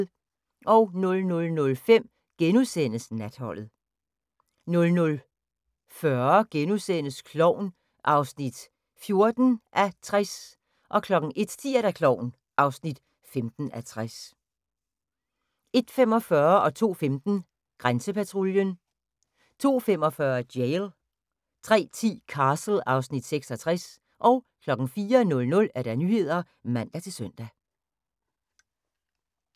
00:05: Natholdet * 00:40: Klovn (14:60)* 01:10: Klovn (15:60) 01:45: Grænsepatruljen 02:15: Grænsepatruljen 02:45: Jail 03:10: Castle (Afs. 66) 04:00: Nyhederne (man-søn)